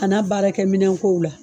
A n'a baara kɛ minɛnko la.